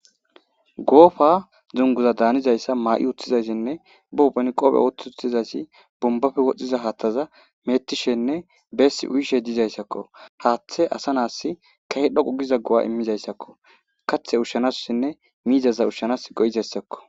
Goofa zunguza daanizayssa maa'i utthizaysinne booben qophe wotutizasi bumbafe wodhdhiza haaththaza meettishenne beessi uyishe dizayssakko haaththe asa naass kahe dhoqu giza go'a immizayssakko kaththe ushshanasossinne miizaza ushshanas go'izayssakko.